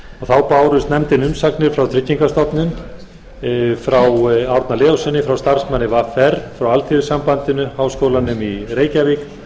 þá bárust nefndinni umsagnir frá tryggingastofnun frá árna leóssyni starfsmanni vr frá alþýðusambandinu háskólanum í reykjavík